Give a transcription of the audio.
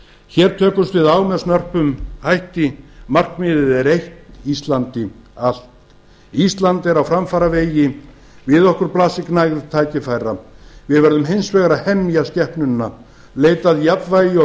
hér tökumst við á með snörpum hætti markmiðið er eitt íslandi allt ísland er á framfaravegi við okkur blasir gnægð tækifæra við verðum hins vegar að hemja skepnuna leita að jafnvægi og